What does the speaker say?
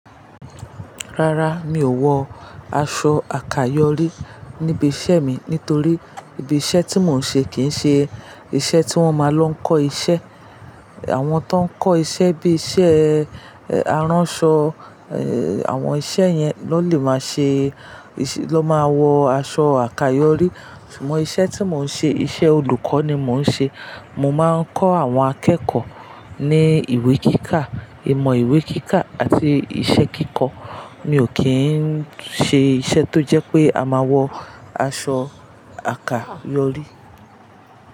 Rárá, mi ò wọ aṣọ àkayòrí níbi iṣẹ́ mi nítorí ibi iṣẹ́ tí mò ń ṣe kìí ṣe iṣẹ́ tí wọ́n máa lọ kọ́ iṣẹ́. Àwọn tó ń kọ́ iṣẹ́ bí iṣẹ́ aránṣọ, ẹ, àwọn iṣẹ́ yẹn ló lè máa ṣe, ló máa wọ aṣọ àkayòrí. Ṣùgbọ́n iṣẹ́ tí mò ń ṣe, iṣẹ́ olùkọ́ ni mò ń ṣe. Mo máa ń kọ́ àwọn akẹ́kọ̀ọ́ ní ìwé kíkà, ìmọ̀ ìwé kíkà àti ìṣe kíkọ. Mi ò kí ń ṣe iṣẹ́ tó jẹ́ pé a máa wọ aṣọ àkayòrí.